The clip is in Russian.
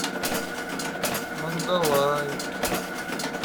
мандалай